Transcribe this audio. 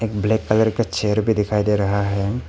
एक black colour का chair भी दिखाई दे रहा है।